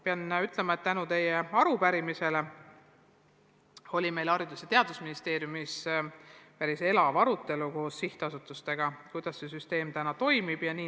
Pean ütlema, et tänu teie arupärimisele oli meil Haridus- ja Teadusministeeriumis koos sihtasutustega päris elav arutelu, kuidas see süsteem ikkagi toimib.